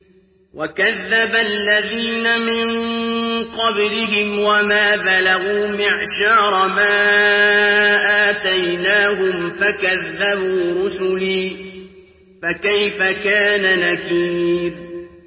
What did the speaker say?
وَكَذَّبَ الَّذِينَ مِن قَبْلِهِمْ وَمَا بَلَغُوا مِعْشَارَ مَا آتَيْنَاهُمْ فَكَذَّبُوا رُسُلِي ۖ فَكَيْفَ كَانَ نَكِيرِ